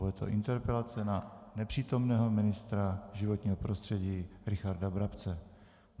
Bude to interpelace na nepřítomného ministra životního prostředí Richarda Brabce.